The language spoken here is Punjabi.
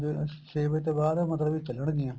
ਛੇ ਵਜੇ ਤੋਂ ਬਾਅਦ ਮਤਲਬ ਕੀ ਚੱਲਣਗੀਆਂ